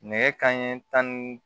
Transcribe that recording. Nɛgɛ kanɲɛ tan ni